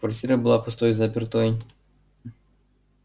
квартира была пустой и запертой